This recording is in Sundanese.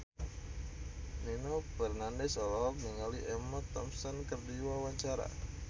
Nino Fernandez olohok ningali Emma Thompson keur diwawancara